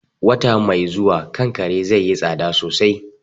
Wata mai zuwa, kankare zaiyi tsada sosai